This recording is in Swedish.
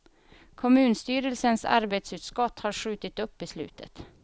Kommunstyrelsens arbetsutskott har skjutit upp beslutet.